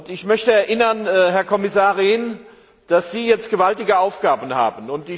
Ich möchte erinnern, Herr Kommissar Rehn, dass Sie jetzt gewaltige Aufgaben haben.